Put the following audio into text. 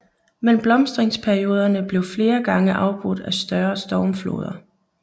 Men blomstringsperioderne blev flere gange afbrudt af større stormfloder